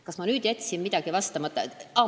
Kas ma jätsin millelegi vastamata?